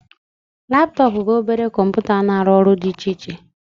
Laptọọpụ bụ obere kọmputa na-arụ ọrụ dị iche iche